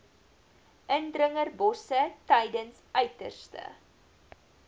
indringerbosse tydens uiterste